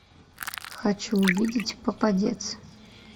хочу увидеть попадец